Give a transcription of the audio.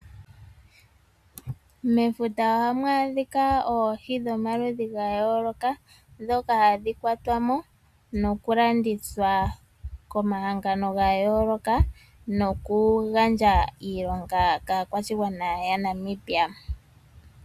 Mefuta ohamu adhika oohi dhomaludhi gayooloka ndhoka hadhi kwatwamo nokulandithwa komahangano gayooloka. Noku gandja iiilonga kaakwashigwana aaNamibia.